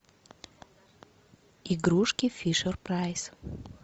игрушки фишер прайс